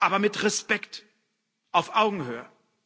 Aber mit Respekt, auf Augenhöhe.